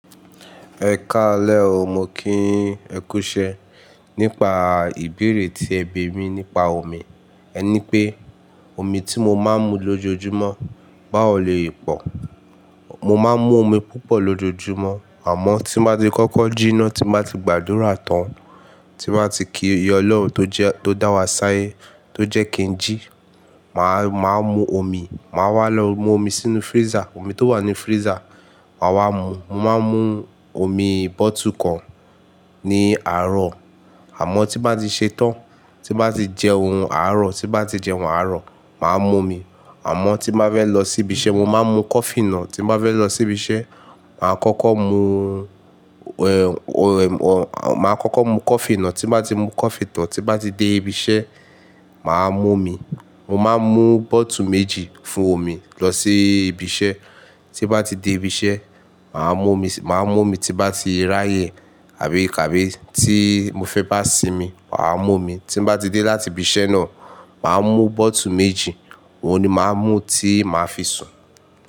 Ẹ ka lẹ́ ọ, mo kí ẹ̀kúṣẹ́ nípa ìbéèrè tí ẹ bi mí nípa omi. Ẹ ní pé omi tí mo máa ń mu lójoojúmọ́ báwò loye pọ̀. Mo máa ń mú omi púpọ̀ lójoojúmọ́, àmọ́ tí bá ti kọ́kọ́ jíná, tí bá ti gbàdúrà tán, tí bá ti kí Ọlọ́run tó dá wa ṣáyé, tó jẹ́ kí n jí, màá mú omi. Màá wá lọ mú omi sínú freezer. Omi tó wà ní freezer, màá wá mú. Mo máa ń mú omi bọ́ọ́tù kan ní àárọ̀, àmọ́ tí bá ti ṣe tán, tí bá ti jẹ́ ohun àárọ̀, tí bá ti jẹ́ ohun àárọ̀, màá mo omi. Àmọ́ tí bá fẹ́ lọ sí ibi iṣẹ́, mo máa ń mú kọfí náà. Tí bá fẹ́ lọ sí ibi iṣẹ́, màá kọ́kọ́ mú, ẹ́, o, ẹ, o, màá kọ́kọ́ mú kọfí náà. Tí bá ti mú kọfí tán, tí bá ti dé ibi iṣẹ́, màá mú omi. Mo máa ń mú bọ́ọ́tù méjì fún omi lọ sí ibi iṣẹ́. Tí bá ti dé ibi iṣẹ́, màá mú omi, màá mú omi tí bá ti rá yẹ̀ àbí kà bí tí mo fẹ́ bá sinmi, màá mú omi. Tí bá ti dé láti ibi iṣẹ́ náà, màá mú bọ́ọ́tù méjì, òun ni màá mú tí màá fi sùn.